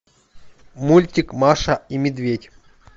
мультик маша и медведь